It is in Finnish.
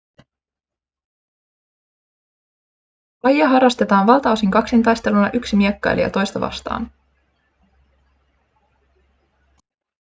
lajia harrastetaan valtaosin kaksintaisteluna yksi miekkailija toista vastaan